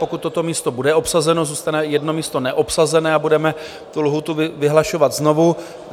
Pokud toto místo bude obsazeno, zůstane jedno místo neobsazené a budeme tu lhůtu vyhlašovat znovu.